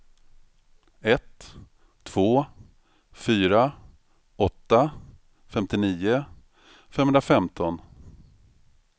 ett två fyra åtta femtionio femhundrafemton